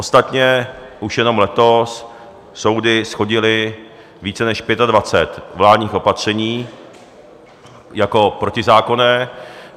Ostatně už jenom letos soudy shodily více než 25 vládních opatření jako protizákonných.